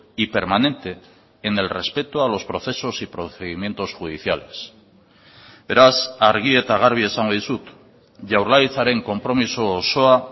y permanente en el respeto a los procesos y procedimientos judiciales beraz argi eta garbi esango dizut jaurlaritzaren konpromiso osoa